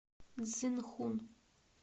цзинхун